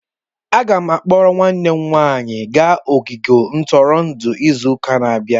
Aga m eburu nwanne m nwanyị gaa ogige ntụrụndụ izu ụka na-abịa.